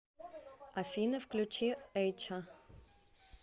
афина включи эйча